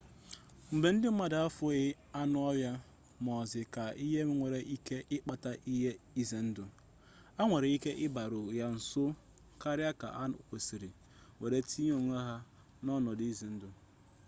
mgbe ndị mmadụ ahụghị anụ ọhịa muz ka ihe nwere ike ikpata ihe ize ndụ ha nwere ike ịbịaru ya nso karịa ka ha kwesịrị were tinye onwe ha n'ọnọdụ ize ndụ